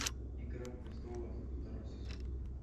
игра престолов второй сезон